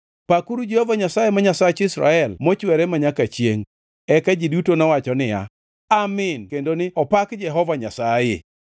Pakuru Jehova Nyasaye, ma Nyasach Israel mochwere manyaka chiengʼ. Eka ji duto nowacho niya, “Amin” kendo ni “Opak Jehova Nyasaye.”